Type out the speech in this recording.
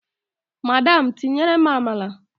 Madam tinyerem amala!